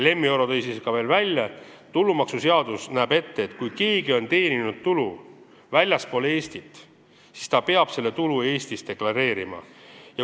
Lemmi Oro tõi veel välja, et tulumaksuseadus näeb ette, et kui keegi on teeninud tulu väljaspool Eestit, siis ta peab selle tulu Eestis deklareerima.